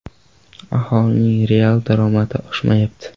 Aholining real daromadi oshmayapti.